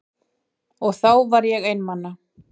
Og þá var ég einmana.